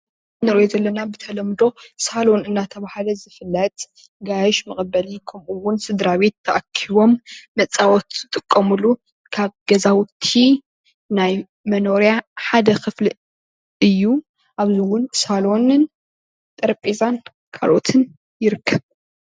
ንሪኦ ዘለና ብተለምዶ ሳሎን እናተብሃለ ዝፍልጥ ጋያሹ መቐበሊ ከምኡ እዉን ስድራቤት ተኣኪቦም መፃወቲ ዝጥቀምሉ ካብ ገዛዉቲ ናይ መኖሪያ ሓደ ክፍሊ እዩ። ከምኡ እዉን ሳሎንን ጠረጴዛን ካልኦትን ይርከብ።